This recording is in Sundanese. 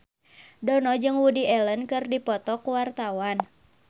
Dono jeung Woody Allen keur dipoto ku wartawan